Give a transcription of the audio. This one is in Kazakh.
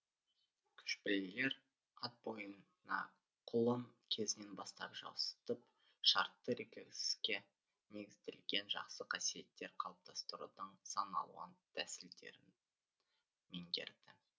көшпелілер ат бойына құлын кезінен бастап жуасытып шартты рефлекске негізделген жақсы қасиеттер қалыптастырудың сан алуан тәсілдерін меңгерді